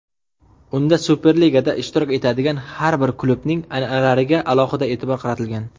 Unda Superligada ishtirok etadigan har bir klubning an’analariga alohida e’tibor qaratilgan.